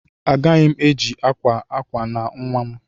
Agaghị m eji akwa akwa na nwa m.